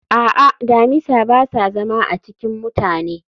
a'a, damisa ba sa zama a cikin mutane